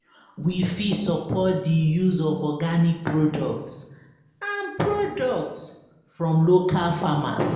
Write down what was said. We fit support di use of organic products and products from local farmers